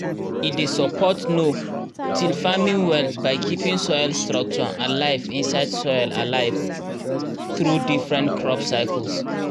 e dey support no-till farming well by keeping soil structure and life inside soil alive through different crop cycles.